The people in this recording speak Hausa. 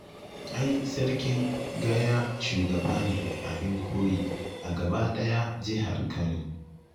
Ai Sarkin Gaya shugaba ne abin koyi a gabaɗaya jihar Kano